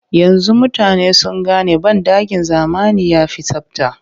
Yanzu mutane sun gane banɗakin zamani ya fi tsabta